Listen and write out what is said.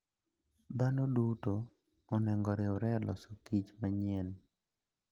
Dhano duto onego oriwre e loso kich manyien.